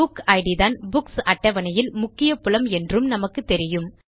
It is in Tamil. புக் இட் தான் புக்ஸ் அட்டவணையில் முக்கிய புலம் என்றும் நமக்குத்தெரியும்